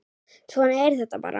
Svona er þetta bara.